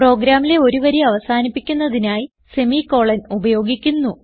പ്രോഗ്രാമിലെ ഒരു വരി അവസാനിപ്പിക്കുന്നതിനായി semi കോളൻ ഉപയോഗിക്കുന്നു